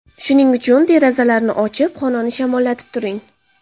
Shuning uchun derazalarni ochib, xonani shamollatib turing.